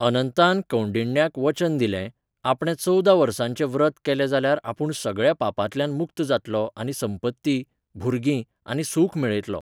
अनंतान कौंडिण्याक वचन दिलें, आपणे चवदा वर्सांचें व्रत केलें जाल्यार आपूण सगळ्या पापांतल्यान मुक्त जातलों आनी संपत्ती, भुरगीं आनी सूख मेळयतलों.